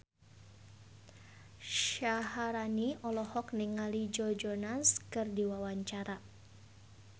Syaharani olohok ningali Joe Jonas keur diwawancara